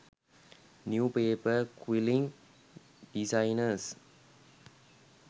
new paper quilling designers